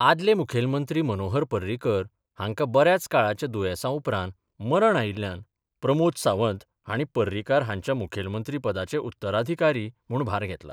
आदले मुखेलमंत्री मनोहर पर्रीकर हांका बऱ्याच काळाच्या दुयेसा उपरांत मरण आयिल्ल्यान प्रमोद सावंत हाणी पर्रीकार हांच्या मुखेलमंत्री पदाचे उत्तराधिकारी म्हुण भार घेतला.